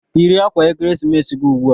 Yiri akwa ekeresimesi gị ugbu a!